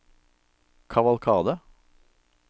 kavalkade